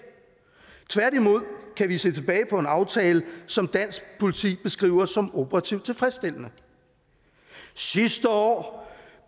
tværtimod kan vi se tilbage på en aftale som dansk politi beskriver som operativt tilfredsstillende sidste år